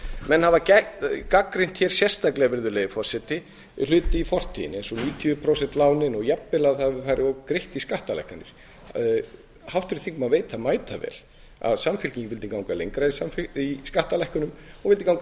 menn hafa gagnrýnt hér sérstaklega virðulegi forseti hluti í fortíðinni eins og níutíu prósent lánin og jafnvel að það hafi farið of greitt í skattalækkanir háttvirtur þingmaður veit það mætavel að samfylkingin vildi ganga lengra í skattalækkunum vildi ganga